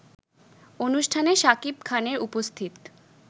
অনুষ্ঠানে শাকিব খানের উপস্থিত